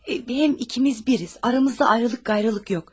Həm ikimiz birik, aramızda ayrılıq qeyriliq yoxdur.